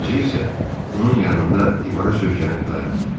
Özü isə onun yanında divara söykənib dayandı.